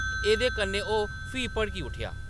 एह्‌‌‌दे कन्नै ओह्‌‌ फ्ही भड़की उट्ठेआ।